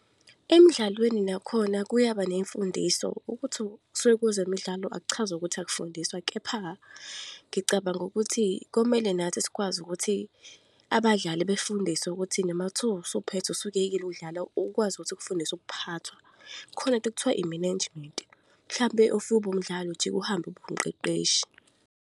Emidlalweni nakhona kuyaba ney'mfundiso, ukuthi kusuke kwezemidlalo akuchazi ukuthi akufundiswa. Kepha, ngicabanga ukuthi komele nathi sikwazi ukuthi abadlali befundiswe ukuthi noma kuthiwa usuphethe usuyekile ukudlala, ukwazi ukuthi ukufundise ukuphathwa. Khona into ekuthiwa i-management. Mhlampe if ubuwumdlali, ujike uhambe ube umqeqeshi.